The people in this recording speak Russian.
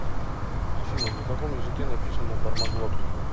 афина на каком языке написано бармаглот